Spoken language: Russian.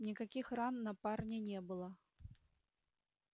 никаких ран на парне не было